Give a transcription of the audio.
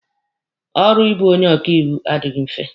Ọrụ ịbụ onye ọkaiwu adịghị mfe.